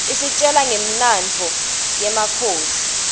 isitjela ngemlandvo yemakhosi